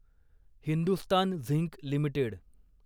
Hindustan zinc limited